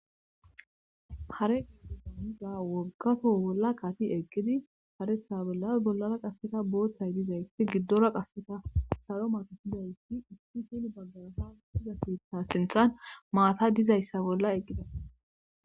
Hare gianiza woggaso bolla qati eqqidi haretha bollas bollara qasseta booththay dizayti giddora qasseta saro matopidayi itti hini baggarasa diza keita sinthan maata dizayssa bolla eqqida